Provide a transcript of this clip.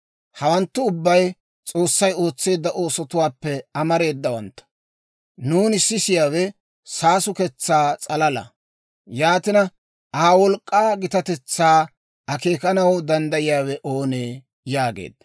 Hawanttu ubbay S'oossay ootseedda oosotuwaappe amareedawantta; nuuni sisiyaawe saasuketsaa s'alala. Yaatina, Aa wolk'k'aa gitatetsaa akeekanaw danddayiyaawe oonee?» yaageedda.